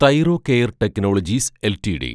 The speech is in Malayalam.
Thyrocare technologies LTD